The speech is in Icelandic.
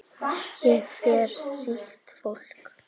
Hér fer ríkt fólk.